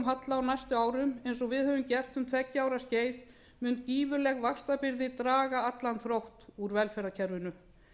halla á næstu árum eins og við höfum gert um tveggja ára skeið mun gífurleg vaxtabyrði draga allan þrótt úr velferðarkerfinu